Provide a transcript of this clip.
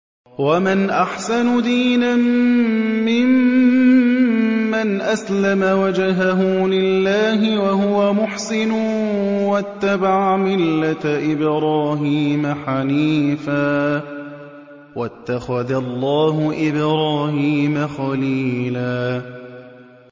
وَمَنْ أَحْسَنُ دِينًا مِّمَّنْ أَسْلَمَ وَجْهَهُ لِلَّهِ وَهُوَ مُحْسِنٌ وَاتَّبَعَ مِلَّةَ إِبْرَاهِيمَ حَنِيفًا ۗ وَاتَّخَذَ اللَّهُ إِبْرَاهِيمَ خَلِيلًا